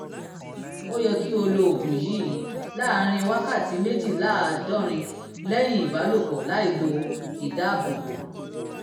ó yẹ kí o lo oògùn yìí láàárín wákàtí méjìléláàádọ́rin lẹ́yìn ìbálòpọ̀ láìlo ìdáàbòbò